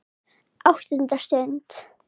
ÁTTUNDA STUND